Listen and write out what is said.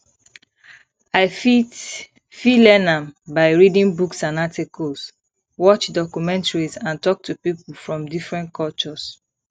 i fit fit learn am by reading books and articles watch documentaries and talk to people from different cultures